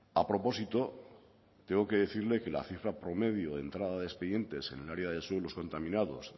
a propósito tengo que decirle que la cifra promedio de entrada de expedientes en el área de suelos contaminados